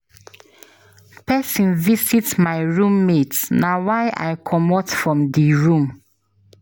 Pesin visit my room mate na why I comot from di room.